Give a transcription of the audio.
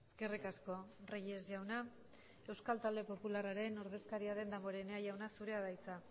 eskerrik asko reyes jauna euskal talde popularraren ordezkaria den damborenea jauna zurea da hitza